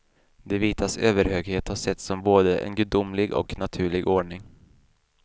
De vitas överhöghet har setts som både en gudomlig och naturlig ordning.